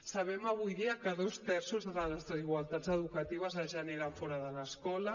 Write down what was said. sabem avui dia que dos terços de les desigualtats educatives es generen fora de l’escola